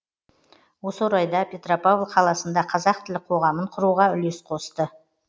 осы орайда петропавл қаласында қазақ тілі қоғамын құруға үлес қосты